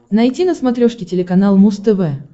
найти на смотрешке телеканал муз тв